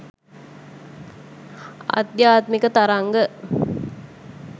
ආධ්‍යාත්මික තරංග